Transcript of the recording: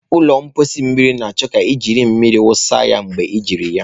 Ụlọ mposi mmiri na-achọ ka ị na-eji mmiri wụsa ya mgbe ejiri ya.